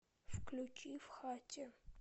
включи в хате